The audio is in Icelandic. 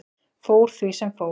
Fór því sem fór.